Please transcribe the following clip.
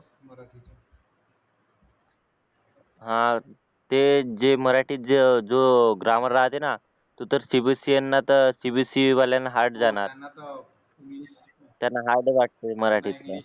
हा ते जे मराठीत जे जो ग्रामर राहते ना तो तर cbse यांना तर cbse वाल्यांना हार्ड जाणार त्यांना हार्ड वाटते मराठीतलं